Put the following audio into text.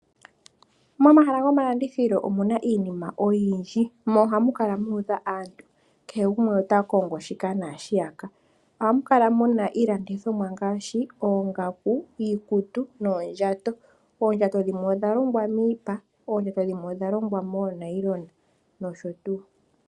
Momahala gomalandithilo omuna iinima oyindji, mo ohamu kala muudha aantu, kehe gumwe ota kongo shika naashiyaka. Ohamu kala muna iilandithomwa ngaashi oongaku, iikutu noondjato, oondjato dhimwe odha longwa miipa, dhimwe odha longwa moonayilona nosho tuu.